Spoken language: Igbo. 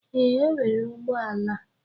Ee, o nwere ụgbọ ala.